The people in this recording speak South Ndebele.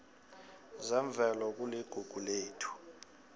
zemvelo kuligugu lethu